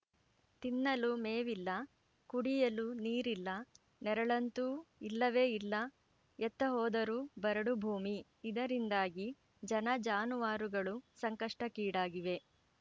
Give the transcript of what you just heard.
ತಿನ್ನಲು ಮೇವಿಲ್ಲ ಕುಡಿಯಲು ನೀರಿಲ್ಲ ನೆರಳಂತೂ ಇಲ್ಲವೇ ಇಲ್ಲ ಎತ್ತ ಹೋದರೂ ಬರಡು ಭೂಮಿ ಇದರಿಂದಾಗಿ ಜನಜಾನುವಾರುಗಳು ಸಂಕಷ್ಟಕ್ಕೀಡಾಗಿವೆ